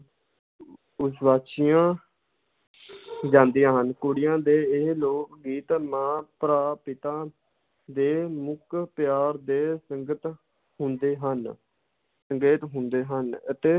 ਜਾਂਦੀਆਂ ਹਨ, ਕੁੜੀਆਂ ਦੇ ਇਹ ਲੋਕ ਗੀਤ ਮਾਂ, ਭਰਾ, ਪਿਤਾ ਦੇ ਅਮੁੱਕ ਪਿਆਰ ਦੇ ਸੰਕੇਤ ਹੁੰਦੇ ਹਨ, ਸੰਕੇਤ ਹੁੰਦੇ ਹਨ ਅਤੇ